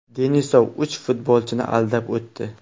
Denisov uch futbolchini aldab o‘tdi.